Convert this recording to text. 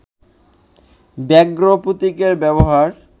ব্যাঘ্র প্রতীকের ব্যবহার